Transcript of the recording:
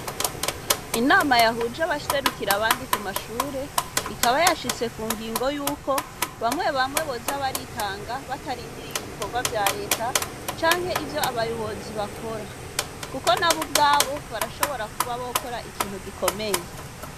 Inama yahuje abaserukira abandi kumashure, ikaba bashitse ku ngingo yuko bamwe bamwe boza baritanga batarindiriye ibikorwa vya leta, canke ivyo abayobozi bakora, kuko nabo ubwabo barashobora kuba bokora ikintu gikomeye.